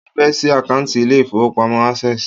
Mo fẹ́ ṣí àkántì ilé ìfọwọ́pamo Access.